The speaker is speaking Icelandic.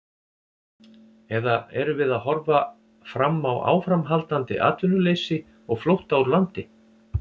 Eða erum við að horfa fram á áframhaldandi atvinnuleysi og flótta úr landi?